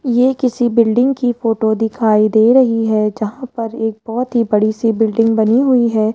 ये किसी बिल्डिंग की फोटो दिखाई दे रही है जहां पर एक बहोत ही बड़ी सी बिल्डिंग बनी हुई है।